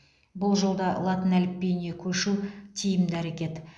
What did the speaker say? бұл жолда латын әліпбиіне көшу тиімді әрекет